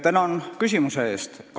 Tänan küsimuse eest!